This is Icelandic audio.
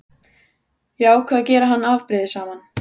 Ég ákvað að gera hann afbrýðisaman.